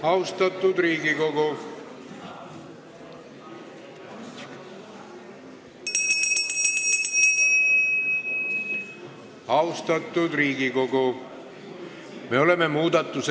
Eelnõu 590 teine lugemine on lõpetatud.